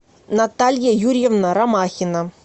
наталья юрьевна ромахина